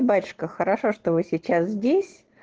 батюшка хорошо что вы сейчас здесь